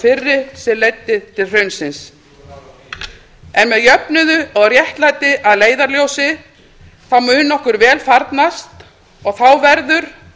fyrri sem leiddi til hrunsins en með jöfnuð og réttlæti að leiðarljósi þá mun okkur vel farnast og þá verður